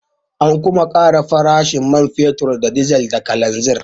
An kuma ƙara farashin man fetur da dizal da kananzir.